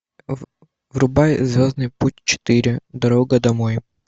врубай звездный путь четыре дорога домой